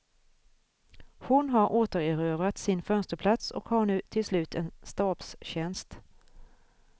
Hon har återerövrat sin fönsterplats och har nu till slut en stabstjänst.